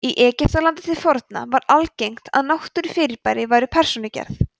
í egyptalandi til forna var algengt að náttúrufyrirbæri væru persónugerð